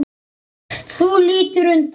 Þú lítur undan.